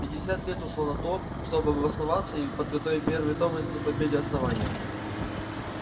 пятьдесят лет ушло на то чтобы обосноваться и подготовить первый том энциклопедии основания